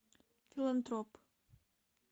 филантроп